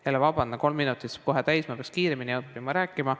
Vabandust jälle, kolm minutit saab kohe täis, ma peaks kiiremini rääkima õppima.